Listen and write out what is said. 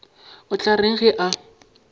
o tla reng ge a